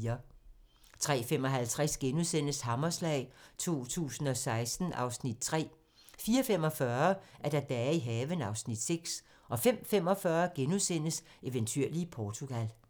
03:55: Hammerslag 2016 (Afs. 3)* 04:45: Dage i haven (Afs. 6) 05:45: Eventyrlige Portugal *